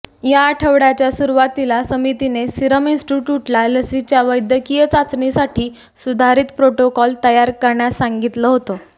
या आठवड्याच्या सुरुवातीला समितीने सिरम इन्स्टिट्य़ूटला लसीच्या वैद्यकीय चाचणीसाठी सुधारित प्रोटोकॉल तयार करण्यास सांगितलं होतं